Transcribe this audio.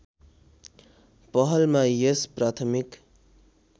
पहलमा यस प्राथमिक